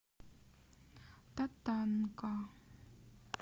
татанка